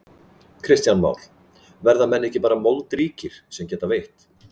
Kristján Már: Verða menn ekki bara moldríkir sem geta veitt?